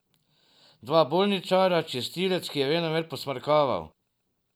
Dva bolničarja, čistilec, ki je venomer posmrkaval.